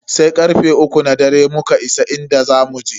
Sai karfe uku na dare muka isa inda zamu je.